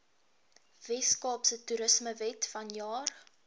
weskaapse toerismewet vanjaar